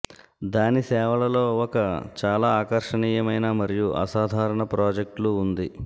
దాని సేవలలో ఒక చాలా ఆకర్షణీయమైన మరియు అసాధారణ ప్రాజెక్టులు ఉంది